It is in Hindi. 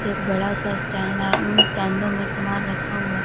एक बड़ा सा स्टैंड है उन स्टैंडो में सामान रखा हुआ है।